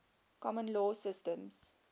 common law systems